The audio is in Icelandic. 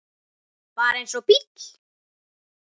Bara eins og bíll.